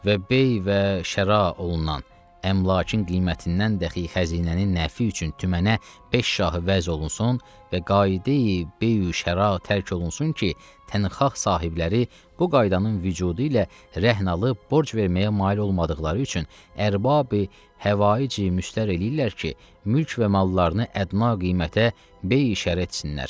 Və bey və şəra olunan əmlakın qiymətindən dəxi xəzinənin nəfi üçün tümənə beş şahı vəz olunsun və qayde beyu şəra tərk olunsun ki, tənxaq sahibləri bu qaydanın vücudu ilə rəhn alıb borc verməyə mail olmadıqları üçün ərbabi həvaic müstər eləyirlər ki, mülk və mallarını ədna qiymətə beyi şərə etsinler.